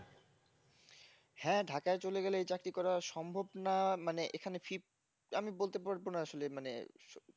হ্যাঁ ঢাকায় চলে গেলে এই চাকরি করা সম্ভব না মানে এখানে ফির আমি বলতে পারব না আসলে মানে